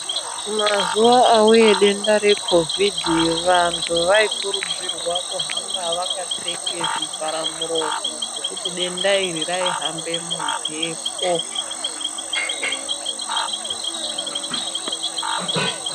Mazuwa auya denda rekhovhidhi vantu vanokurudzirwa kuhamba vakapfeka zvivhara muromo ngekuti denda iri raihamba mumhepo.